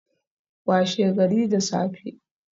Washe gari da safe